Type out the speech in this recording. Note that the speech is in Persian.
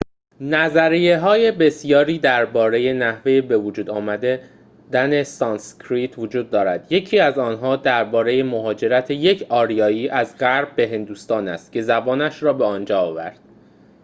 نظریه‌های بسیاری درباره نحوه بوجود آمدن سانسکریت وجود دارد یکی از آنها درباره مهاجرت یک آریایی از غرب به هندوستان است که زبانش را به آنجا آورد